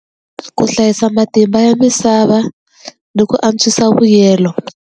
Ku hlayisa matimba ya misava ni ku antswisa mbuyelo.